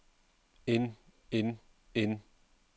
en en en